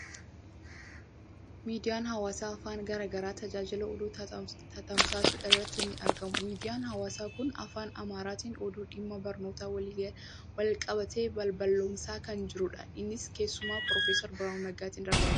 Miidiyaan hawaasaa afaan garaa garaa tajaajila oduu tamsaasuu irratti ni argamu. Miidiyaan hawaasaa kun afaan Amaaraatiin oduu dhimma barnootaa waliin wal qabate balballoomsaa kan jirudha. Innis keessummaa Piroofeser Biraanuu Naggaatiin darbaa jira.